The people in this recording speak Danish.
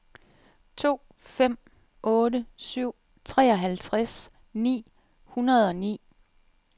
to fem otte syv treoghalvtreds ni hundrede og ni